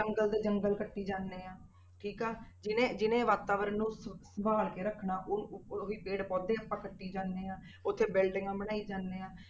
ਜੰਗਲ ਦੇ ਜੰਗਲ ਕੱਟੀ ਜਾਂਦੇ ਹਾਂ ਠੀਕ ਜਿਹਨੇ ਜਿਹਨੇ ਵਾਤਾਵਰਨ ਨੂੰ ਸ~ ਸੰਭਾਲ ਕੇ ਰੱਖਣਾ ਉਹ ਉਹ ਹੀ ਪੇੜ ਪੌਦੇ ਆਪਾਂ ਕੱਟੀ ਜਾਂਦੇ ਹਾਂ ਉੱਥੇ buildings ਬਣਾਈ ਜਾਂਦੇ ਹਾਂ।